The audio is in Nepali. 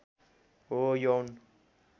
हो यौन